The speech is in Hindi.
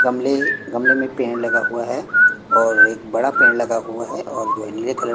गमले गमले में पेड़ लगा हुआ है और एक बड़ा पेड़ लगा हुआ है और जो है नीले कलर --